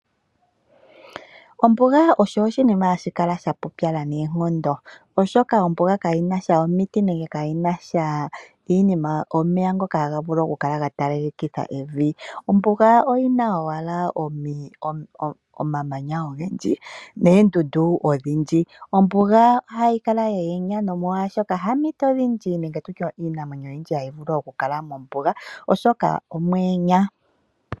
Ombuga osho oshinima hashi kala sha pupyala noonkondo, oshoka ombuga kaa yina sha oomiti nenge kaa yina sha iinima, omeya ngoka haga vulu okukala gatalalekitha evi. Ombuga oyina wala omamanya ogendji neendudu odhindji. Ombuga ohayi kala yayenya nomolwa oshoka haa eempito odhindji nenge tutye iinamwenyo oyindji hayi vulu okukala mombuga oshoka omwayenya.